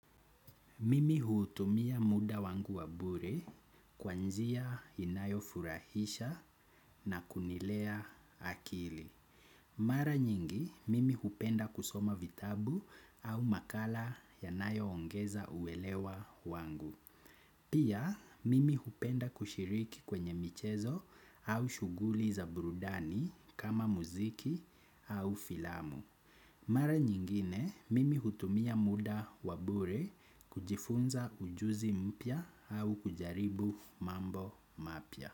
Mimi hutumia muda wangu wa bure kwa njia inayofurahisha na kunilea akili. Mara nyingi, mimi hupenda kusoma vitabu au makala yanayoongeza uelewa wangu. Pia, mimi hupenda kushiriki kwenye michezo au shughuli za burudani kama muziki au filamu. Mara nyingine mimi hutumia muda wa bure kujifunza ujuzi mpya au kujaribu mambo mapya.